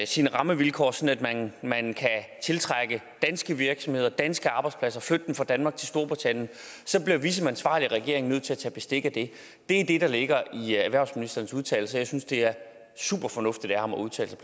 sine rammevilkår sådan at man kan tiltrække danske virksomheder danske arbejdspladser flytte dem fra danmark til storbritannien så bliver vi som ansvarlig regering nødt til at tage bestik af det det er det der ligger i erhvervsministerens udtalelser jeg synes det er super fornuftigt af ham at udtale sig